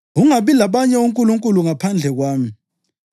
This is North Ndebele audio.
Ungabi labanye onkulunkulu ngaphandle kwami.